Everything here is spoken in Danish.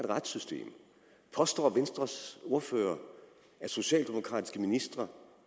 retssystem påstår venstres ordfører at socialdemokratiske ministre